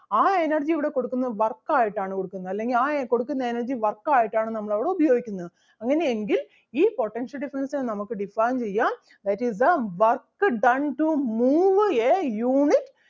ആ energy ഇവിടെ കൊടുക്കുന്നത് work ആയിട്ട് ആണ് കൊടുക്കുന്നത് അല്ലെങ്കിൽ ആ കൊടുക്കുന്ന energy work ആയിട്ടാണ് നമ്മൾ അവിടെ ഉപയോഗിക്കുന്നത്. അങ്ങനെ എങ്കിൽ ഈ potential difference നെ നമുക്ക് define ചെയ്യാം that is the work done to move a unit